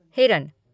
हिरन